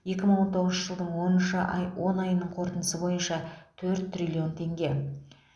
екі мың он тоғызыншы жылдың оныншы ай он айының қорытындысы бойынша төрт триллион теңге